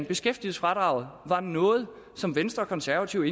beskæftigelsesfradraget var noget som venstre og konservative